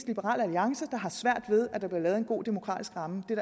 liberal alliance der har svært ved at der bliver lavet en god demokratisk ramme det